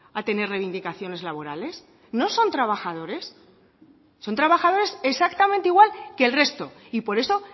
a tener reivindicaciones laborales no son trabajadores son trabajadores exactamente igual que el resto y por eso